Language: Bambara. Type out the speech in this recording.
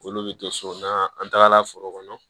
Olu bɛ don so na an tagala foro kɔnɔ